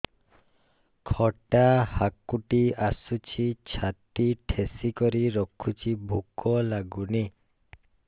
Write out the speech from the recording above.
ଖଟା ହାକୁଟି ଆସୁଛି ଛାତି ଠେସିକରି ରଖୁଛି ଭୁକ ଲାଗୁନି